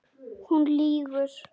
Hún lýgur.